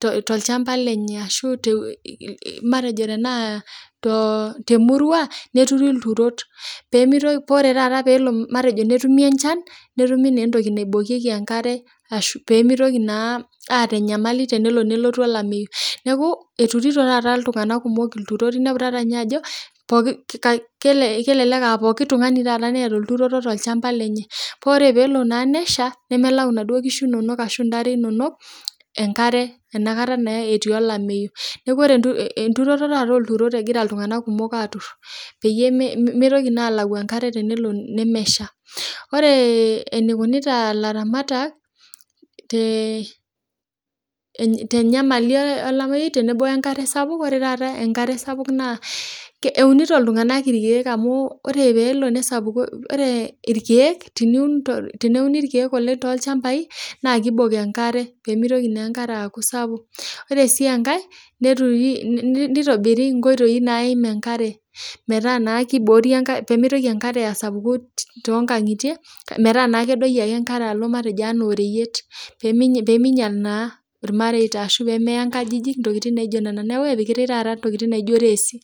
to ilchamba lenye ashu te matejo tenaa too, te murua neturii ilturot pemeitoki ore taata peelo matejo netumi enchan, netumi naa entoki naibokieki enkare ashu pemeitoki naa aata enyamali tenelo nelotu olameiyu, naaku eturito taata iltunganak kumok ilturot, iniapu taata ninye ajo kelelek aa pooki tungani taata neata olturoto te ilchamba lenye, kore peelo naa nesha, nemalau enaduo inkishu inono ashu intare inono enkare inakata naa etii elameiyu, naaku ore enturoto taata olturot nagira ltunganak kumok taata aatur peyie emeitoki naa alau enkare tenelo nemesha, ore eneikonits ilatamatak te enyamali elameiyu tenebo enkare sapuk, ore taata enkare sapuk naa eunito iltunganak irkeek ore peelo nesapuku, ore irkeek teniun teneuni irkeek oleng te ilchambai naa keibok enkare pemeitoki naa inkare aaku esapuk. Ore sii enkae naitobiri inkoitoi naim enkare metaa naa keiboori enkare pemeitoki enkare asapuku too inkangitie, metaa naa kedoki ake enkare alo anaa matejo oreyiet, pemeinyal naa irmareita ashu pemeeya inkajijik intokitin naijo nena, naaku epikitae taata ntokitin naijo resi.